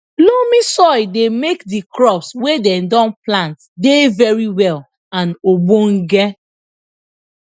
loamy soil dey make the crops wey dem don plant dey very well and ogdonge